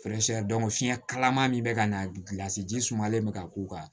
fiɲɛ kalaman min bɛ ka na gilasi ji sumalen bɛ ka k'u kan